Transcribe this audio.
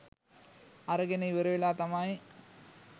අරගෙන ඉවර වෙලා තමයි